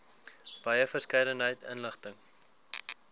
wye verskeidenheid inligting